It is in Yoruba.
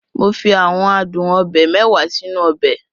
Mo fi àwọn adun obe mẹ́wàá sínú ọbẹ̀.